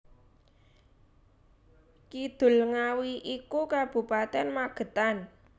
Kidul Ngawi iku Kabupaten Magetan